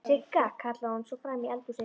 Sigga!, kallaði hún svo fram í eldhúsið.